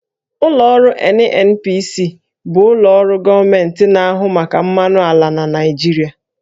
Ụlọ ọrụ NNPC bụ ụlọ ọrụ gọọmenti na-ahụ maka mmanụ ala na Naịjirịa